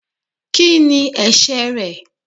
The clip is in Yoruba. ki ní ẹsẹ re?